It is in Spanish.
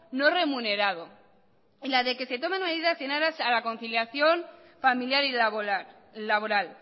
no remunerado y la de que se tomen medidas y en aras a la conciliación familiar y laboral